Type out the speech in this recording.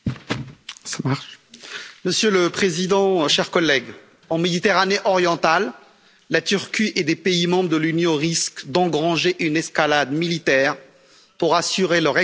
Monsieur le président, chers collègues, en Méditerranée orientale, la Turquie et des pays membres de l'Union risquent d'engendrer une escalade militaire pour assurer leur exploitation du gaz naturel.